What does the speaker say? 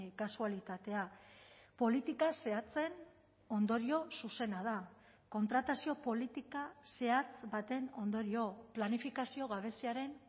kasualitatea politika zehatzen ondorio zuzena da kontratazio politika zehatz baten ondorio planifikazio gabeziaren